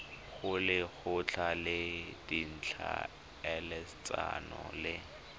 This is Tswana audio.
go lekgotla la ditlhaeletsano le